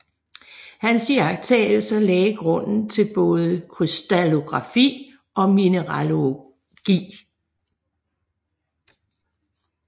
Hans iagttagelser lagde grunden til både krystallografi og mineralogi